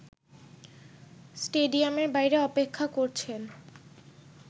স্টেডিয়ামের বাইরে অপেক্ষা করেছেন